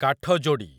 କାଠଯୋଡି଼